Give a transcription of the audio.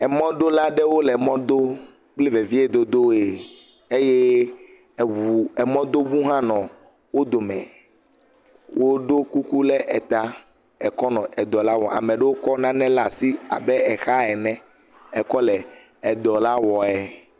Emɔdola aɖewo le emɔ dom kple veviedodoe eye eŋu emɔdoŋu hʋ nɔ wo dome. Woɖo kuku ɖe eta ekɔ nɔ edɔ la wɔm. ame aɖewo kɔ nane ɖe asi abe exa ene ekɔ le edɔ la wɔe.